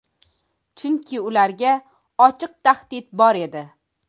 Chunki ularga ochiq tahdid bor edi.